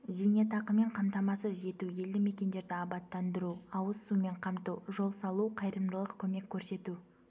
зейнетақымен қамтамасыз ету елді мекендерді абаттандыру ауыз сумен қамту жол салу қайырымдылық көмек көрсету